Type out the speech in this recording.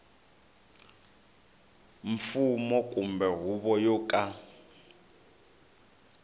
mfumo kumbe huvo yo ka